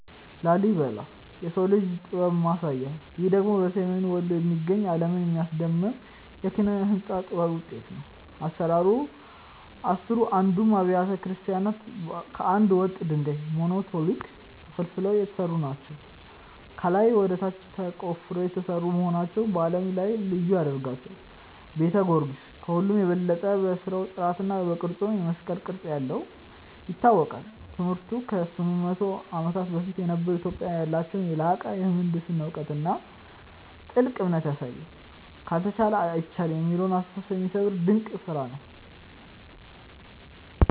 ላሊበላ (Lalibela) - "የሰው ልጅ ጥበብ ማሳያ" ይህ ደግሞ በሰሜን ወሎ የሚገኝ፣ ዓለምን ያስደመመ የኪነ-ሕንጻ ጥበብ ውጤት ነው። አሰራሩ፦ አሥራ አንዱም አብያተ ክርስቲያናት ከአንድ ወጥ ድንጋይ (Monolithic) ተፈልፍለው የተሰሩ ናቸው። ከላይ ወደ ታች ተቆፍረው የተሰሩ መሆናቸው በዓለም ላይ ልዩ ያደርጋቸዋል። ቤተ ጊዮርጊስ፦ ከሁሉም በበለጠ በሥራው ጥራትና በቅርጹ (የመስቀል ቅርጽ ያለው) ይታወቃል። ትምህርቱ፦ ከ800 ዓመታት በፊት የነበሩ ኢትዮጵያውያን ያላቸውን የላቀ የምህንድስና እውቀትና ጥልቅ እምነት ያሳያል። "ካልተቻለ አይቻልም" የሚለውን አስተሳሰብ የሚሰብር ድንቅ ስራ ነው።